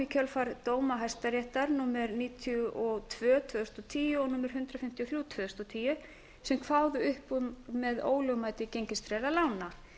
kjölfar dóma hæstaréttar númer níutíu og tvö tvö þúsund og tíu og númer hundrað fimmtíu og þrjú tvö þúsund og tíu sem kváðu upp úr með ólögmæti gengistryggðra lána